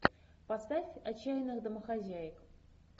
поставь отчаянных домохозяек